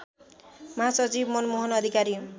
महासचिव मनमोहन अधिकारी